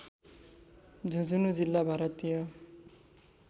झुंझुनू जिल्ला भारतीय